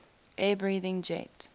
air breathing jet